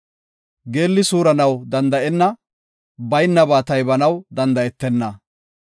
Geelli suuranaw danda7enna; baynaba taybanaw danda7etenna.